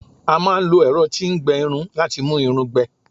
a ma n lo ẹrọ ti n gbẹ Irun lati mu Irun gbẹ